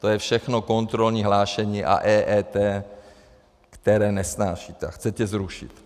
To je všechno kontrolní hlášení a EET, které nesnášíte a chcete zrušit.